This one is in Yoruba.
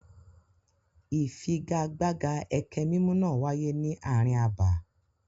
Ìfigagbága ẹkẹ mímù náà wáyé ní ààrin abà.